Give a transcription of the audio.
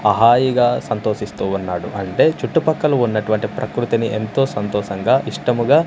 హా హాయిగా సంతోషిస్తూ వున్నాడు అంటే చుట్టుపక్కల ఉన్నటువంటి ప్రకృతిని ఎంతో సంతోషంగా ఇష్టముగా--